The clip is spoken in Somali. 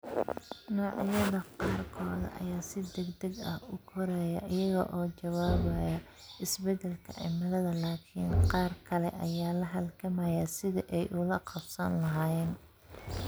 Noocyada qaarkood ayaa si degdeg ah u koraya iyaga oo ka jawaabaya isbeddelka cimilada, laakiin qaar kale ayaa la halgamaya sidii ay ula qabsan lahaayeen.